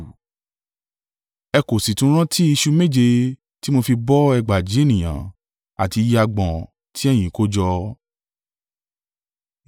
Ẹ kò sì tún rántí ìṣù méje tí mo fi bọ́ ẹgbàajì (4,000) ènìyàn àti iye agbọ̀n tí ẹ̀yín kójọ?